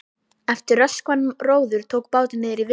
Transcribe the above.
Eftir röskan róður tók bátinn niðri í Viðey.